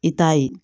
I t'a ye